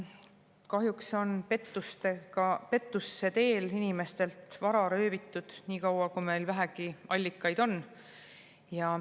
Kahjuks on pettuse teel inimestelt vara röövitud nii kaua, kui meil vähegi allikaid on.